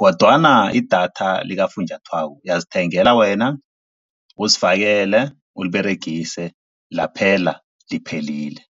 kodwana idatha likafunjathwako uyazithengela wena uzifakele, uliberegise laphela liphelile.